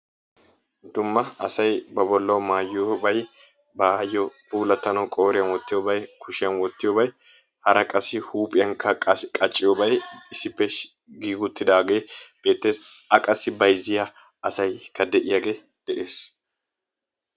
Dumma asay ba boollawu maayiyoobay baayo puulatanwu ba qooriyaan wottiyoobay kushshiyaan wottiyoobay hara qassi huuphphiyaankka qassi qacciyoobay issippe giigi uttidaagee beettees. A qassi bayzziyaa asaykka de'iyaagee de'ees.